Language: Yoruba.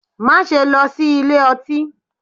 Má lọ sí ilé ọtí!